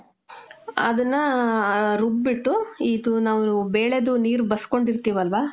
ಅದನ್ನಾ, ಹ , ರುಬ್ ಬಿಟ್ಟು, ಇದು ನಾವು ಬೇಳೆದು ನೀರ್ ಬಸ್ಕೊಂಡಿರ್ತೀವಲ್ವ?